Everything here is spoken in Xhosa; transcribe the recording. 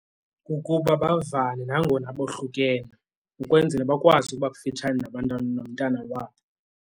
Kukuba bavane nangona bohlukene ukwenzela bakwazi ukuba kufitshane nabantwana, nomntana wabo.